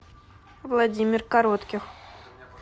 владимир коротких